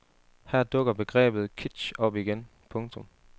Her dukker begrebet kitsch op igen. punktum